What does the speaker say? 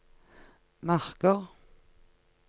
marker